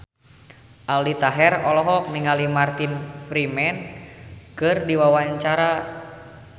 Aldi Taher olohok ningali Martin Freeman keur diwawancara